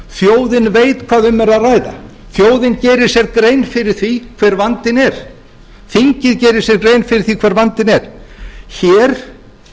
þjóðin veit hvað um er að ræða þjóðin gerir sér grein fyrir því hver vandinn er þingið gerir sér grein fyrir því hver vandinn er hér